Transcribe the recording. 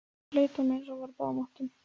Leit á mig, eins og hann væri á báðum áttum.